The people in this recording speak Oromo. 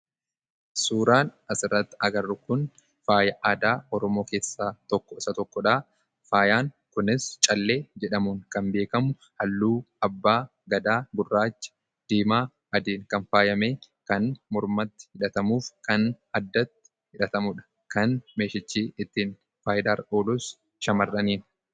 Suuraan as irratti agarru kun faaya aadaa Oromoo keessaa isa tokkodha. Faayaan kunis callee jedhamuun kan beekamudha, halluu abbaa gadaa gurraacha, diimaa fi adiin kan faayyamee kan mormatti hidhatamuufi kan addatti hidhatamuudha. Kan meeshichi ittiin faayidaa irra oolus shamarraniifi.